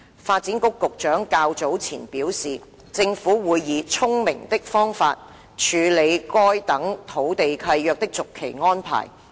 發展局局長較早前表示，政府會以"聰明的方法"處理該等土地契約的續期安排。